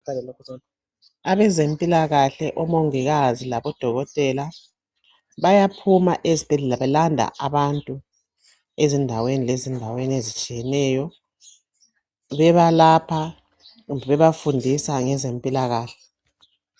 Abezempilakahle omongikazi labodokotela bayaphuma ezibhedlela belanda abantu ezindaweni ezitshiyeneyo bebalapha kumbe bebafundisa ngezempilakahle.